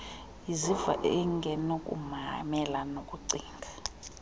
iziva ingenakumelana nokucinga